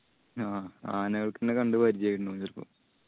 ആ ആനകൾക്കെന്നെ കണ്ട്‌ പരിജയായിണ്ടാവും ആയിരിക്കും